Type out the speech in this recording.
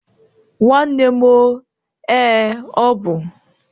Nwanne m o, ee, ọ bụ